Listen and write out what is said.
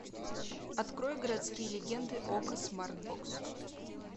открой городские легенды окко смартбокс